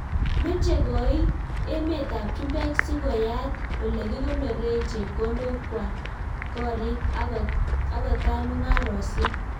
Mechee koitt emeet ap chumbek sikoyaat olekikonoree chepkondok kwal koriik akotai mungarosiek